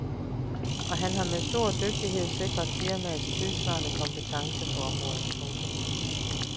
Og han har med stor dygtighed sikret firmaets tidssvarende kompetence på området. punktum